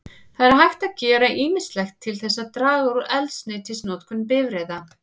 Það er hægt að gera ýmislegt til þess að draga úr eldsneytisnotkun bifreiða.